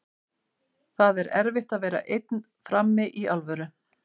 Það er erfitt að vera einn frammi, í alvöru.